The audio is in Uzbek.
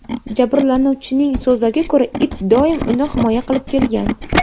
Jabrlanuvchining so‘zlariga ko‘ra, it doim uni himoya qilib kelgan.